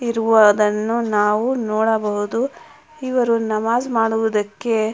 ಇರುವುದನ್ನು ನಾವು ನೋಡಬಹುದು ಇವರು ನಮಾಜ್ ಮಾಡುವುದಕ್ಕೆ--